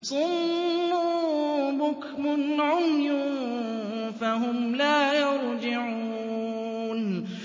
صُمٌّ بُكْمٌ عُمْيٌ فَهُمْ لَا يَرْجِعُونَ